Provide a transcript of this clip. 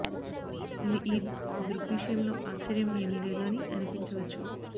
ఇది ఈ దృగ్విషయం లో ఆశ్చర్యం ఏమీ లేదు అని అనిపించవచ్చు